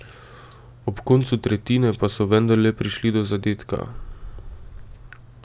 Ob koncu tretjine pa so vendarle prišli do zadetka.